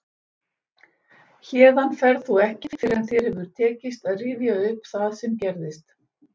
Héðan ferð þú ekki fyrr en þér hefur tekist að rifja upp það sem gerð